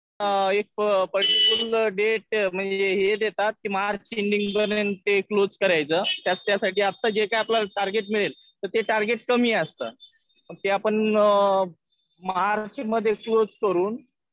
एक particular date म्हणजे हे देतात. ते मार्च एंडिंग पर्यंत ते क्लोज करायचं. त्याच्यासाठी आता आपल्याला जे टार्गेट मिळेल ते टार्गेट कमी असतं. ते आपण मार्च मध्ये क्लोज करून